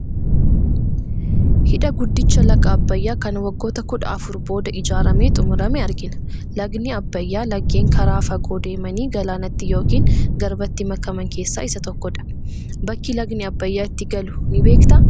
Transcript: Hidha guddicha laga Abbayyaa kan waggoota kudha afur booda ijaaramee xumurame argina. Lagdi Abbayyaa laggeen karaa fagoo deemanii galaanatti yookiin garbatti makaman keessaa isa tokkodha. Bakki lagdi Abbayyaa itti galu ni beektaa?